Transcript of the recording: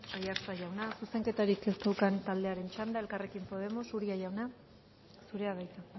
aiartza jauna zuzenketarik ez daukan taldearen txanda elkarrekin podemos uria jauna zurea da hitza